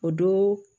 O don